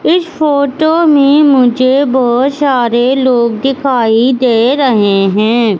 इस फोटो में मुझे बहोत सारे लोग दिखाई दे रहे हैं।